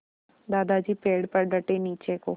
दादाजी पेड़ पर डटे नीचे को